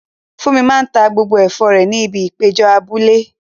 Funmi máa ta gbogbo ẹ̀fọ́ rẹ̀ ní ibi ìpéjọ abúlé.